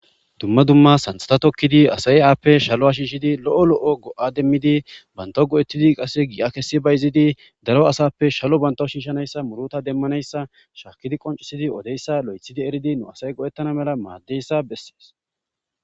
Dumma dumma santhata tokkidi asaye aappe shalo a shiishidi lo7o lo7o go7a demmidi banto go7ettidi qasse gi7a kessi bay izidi daro asappe shalo banto shiishanayssa muruta demmanayssa shaakidi qoncisidi odeyssa lo7ethidi eridi nu asay go7ettana mela maaddeyssa bessees.